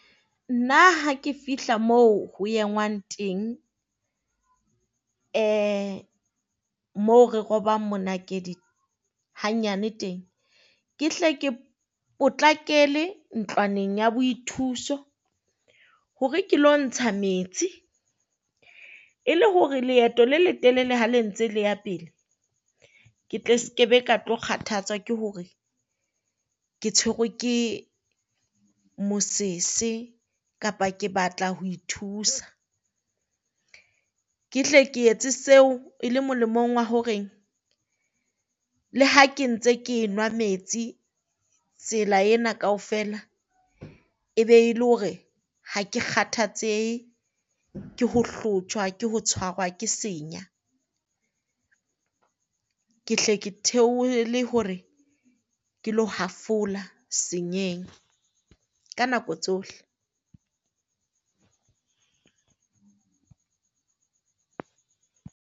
Nna ha ke fihla moo ho engwang teng, moo re robang monakedi hanyane teng. Ke hle ke potlakele ntlwaneng ya boithuso hore ke lo ntsha metsi, e le hore leeto le letelele ha le ntse le ya pele, ke tle skebe ka tlo kgathatswa ke hore ke tshwerwe ke mosese kapa ke batla ho ithusa. Ke hle ke etse seo e le molemong wa horeng le ha ke ntse ke nwa metsi tsela ena kaofela e be le hore ha ke kgathatsehe ke ho hlotjhwa ke ho tshwara ke senya, ke hle ke theohele hore ke le hafola ka nako tsohle.